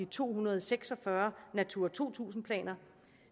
to hundrede og seks og fyrre natura to tusind planer